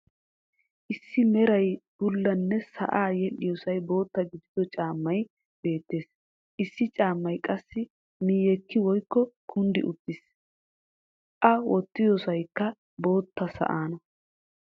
Issi meran bullanne sa"aa yeedhiyossay bootta gidido caammay beettees. issi caammay qassi miyekki woykko kunddi uttiis. a wottidossaykka bootta sa"aana.